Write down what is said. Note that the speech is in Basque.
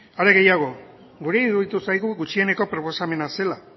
are gehiago guri iruditu zaigu gutxieneko proposamena zela